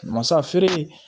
Masa feere